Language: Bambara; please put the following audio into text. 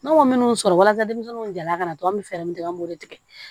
Ne m'o minnu sɔrɔ walasa denmisɛnninw jala ka na dɔrɔn an bɛ fɛɛrɛ min tigɛ an b'o de tigɛ